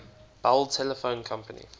bell telephone company